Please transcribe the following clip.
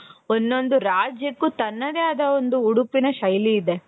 ಒಂದೊಂದೂ ರಾಜ್ಯಕ್ಕೂ ತನ್ನದೇ ಆದ ಒಂದು ಉಡುಪಿನ ಶೈಲಿ ಇದೆ.